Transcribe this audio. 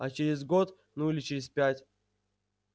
а через год ну или через пять